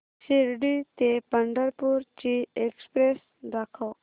शिर्डी ते पंढरपूर ची एक्स्प्रेस दाखव